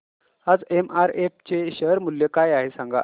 आज एमआरएफ चे शेअर मूल्य काय आहे सांगा